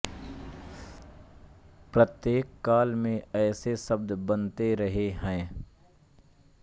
प्रत्येक काल में ऐसे शब्द बनते रहे हैं